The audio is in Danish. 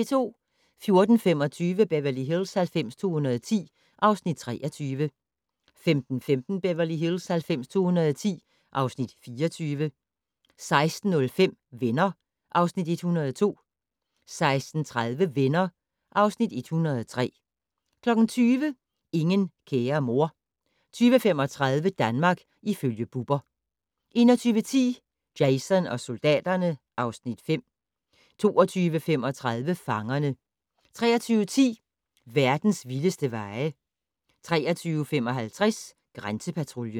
14:25: Beverly Hills 90210 (Afs. 23) 15:15: Beverly Hills 90210 (Afs. 24) 16:05: Venner (Afs. 102) 16:30: Venner (Afs. 103) 20:00: Ingen kære mor 20:35: Danmark ifølge Bubber 21:10: Jason og soldaterne (Afs. 5) 22:35: Fangerne 23:10: Verdens vildeste veje 23:55: Grænsepatruljen